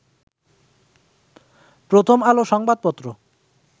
প্রথম আলো সংবাদ পত্র